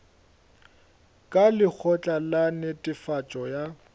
ka lekgotla la netefatšo ya